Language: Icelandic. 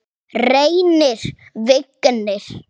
Reynir Vignir.